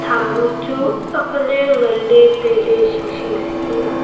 am bu chu akle nganle taile sing sing sii liya.